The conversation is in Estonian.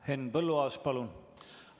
Henn Põlluaas, palun!